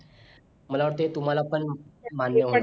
मला वाटतंय तुम्हाला पण मान्य